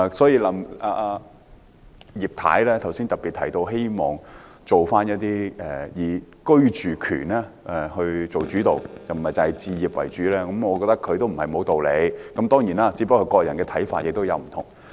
葉太剛才特別提到希望房屋政策的目標以居住權為主導，不要只以置業為主，我覺得她不無道理，只是各人的看法有所不同。